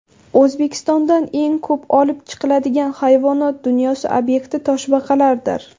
O‘zbekistondan eng ko‘p olib chiqiladigan hayvonot dunyosi obyekti toshbaqalardir.